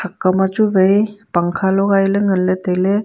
thak kaw ma chu wai pangkha logai ley tai ley.